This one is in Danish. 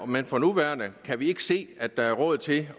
men for nuværende kan vi ikke se at der er råd til